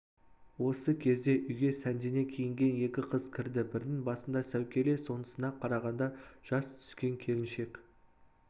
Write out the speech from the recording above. осы кезде үйге сәндене киінген екі қыз кірді бірінің басында сәукеле сонысына қарағанда жас түскен келіншек